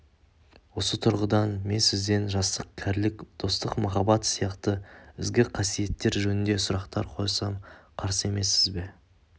осы тұрғыдан мен сізден жастық кәрілік достық махаббат сияқты ізгі қасиеттер жөнінде сұрақтар қойсам қарсы емессіз бе